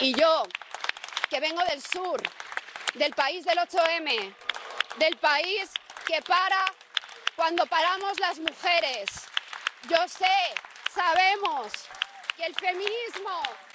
Y yo, que vengo del sur, del país del 8 M, del país que para cuando paramos las mujeres, yo sé, sabemos, que el feminismo